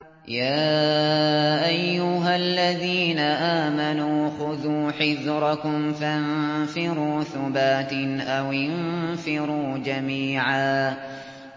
يَا أَيُّهَا الَّذِينَ آمَنُوا خُذُوا حِذْرَكُمْ فَانفِرُوا ثُبَاتٍ أَوِ انفِرُوا جَمِيعًا